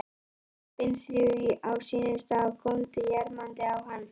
Lömbin þrjú á sínum stað og góndu jarmandi á hann.